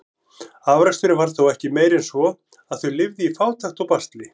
Afraksturinn var þó ekki meiri en svo, að þau lifðu í fátækt og basli.